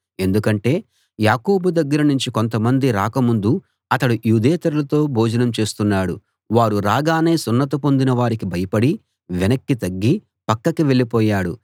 ఎందుకంటే యాకోబు దగ్గర నుంచి కొంతమంది రాక ముందు అతడు యూదేతరులతో భోజనం చేస్తున్నాడు వారు రాగానే సున్నతి పొందిన వారికి భయపడి వెనక్కి తగ్గి పక్కకి వెళ్ళిపోయాడు